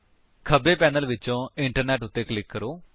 ਖੱਬੇ ਪੈਨਲ ਵਿਚੋਂ ਇੰਟਰਨੈੱਟ ਉੱਤੇ ਕਲਿਕ ਕਰੋ